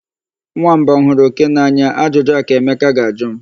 Nwamba ọ hụrụ oke n'anya? Ajụjụ a ka Emeka ga-ajụ m.